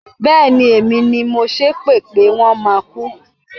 Bẹ́ẹ̀ni, èmi ni mo ṣépè pé wọ́n máa kú.